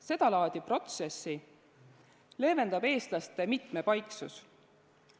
Seda laadi protsessi leevendab eestlaste mitmepaiksus.